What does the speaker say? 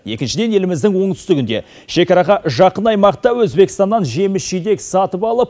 екіншіден еліміздің оңтүстігінде шекараға жақын аймақта өзбекстаннан жеміс жидек сатып алып